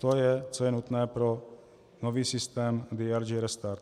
To je, co je nutné pro nový systém DRG restart.